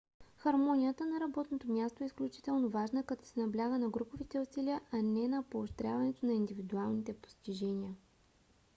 хармонията на работното място е изключително важна като се набляга на груповите усилия а не на поощряването на индивидуалните постижения